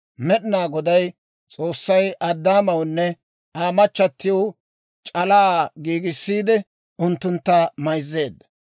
Med'inaa Goday S'oossay Addaamawunne Aa machatiw c'alaa giigissiide unttuntta mayzzeedda.